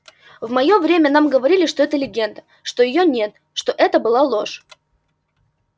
в моё время нам говорили что это легенда что её нет что это была ложь